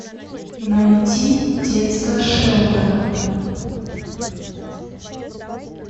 найти детство шелтона